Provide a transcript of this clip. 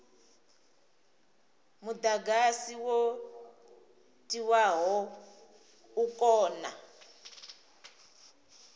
mudagasi wo tiwaho u kone